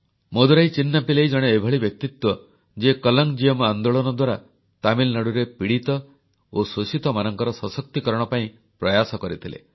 ମଦୁରାଇ ଚିନ୍ନାପିଲ୍ଲୈ ଜଣେ ଏଭଳି ବ୍ୟକ୍ତିତ୍ୱ ଯିଏ କଲଂଜିୟମ ଆନ୍ଦୋଳନ ଦ୍ୱାରା ତାମିଲନାଡ଼ୁରେ ପୀଡ଼ିତ ଓ ଶୋଷିତମାନଙ୍କର ସଶକ୍ତିକରଣ ପାଇଁ ପ୍ରୟାସ କରିଥିଲେ